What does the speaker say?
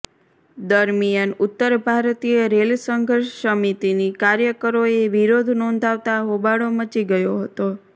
દરમિયાન ઉતર ભારતીય રેલ સંઘર્ષ સમિતિની કાર્યકરોએ વિરોધ નોંધાવતા હોબાળો મચી ગયો હતો